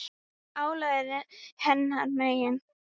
Álagið er hennar megin.